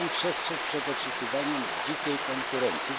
Chciałbym przestrzec przed oczekiwaniem dzikiej konkurencji.